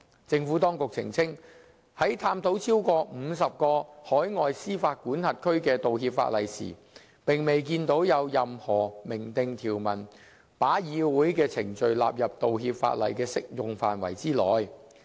政府當局澄清，在探討超過50個海外司法管轄區的道歉法例時，並未見到有任何明訂條文把議會的程序納入道歉法例的適用範圍之內。